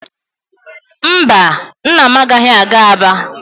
Mba, nna m agaghị aga Aba.